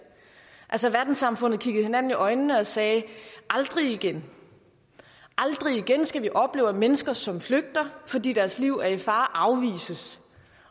altså verdenssamfundet kiggede hinanden i øjnene og sagde aldrig igen aldrig igen skal vi opleve at mennesker som flygter fordi deres liv er i fare afvises